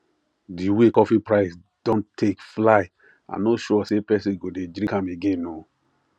the way coffee price don take fly i no sure say person go dey drink am again ooo